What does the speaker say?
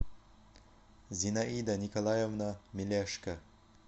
зинаида николаевна милешко